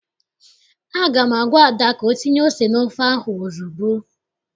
Aga m agwa Ada ka o tinye ose n'ofe ahụ ozugbo!